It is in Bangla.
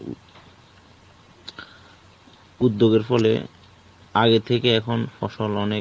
উদ্যোগের ফলে আগের থেকে এখন ফসল অনেক